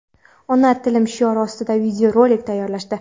ona tilim shiori ostida video rolik tayyorlashdi.